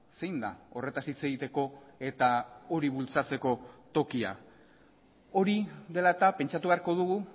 zein da horretaz hitz egiteko eta hori bultzatzeko tokia hori dela eta pentsatu beharko dugu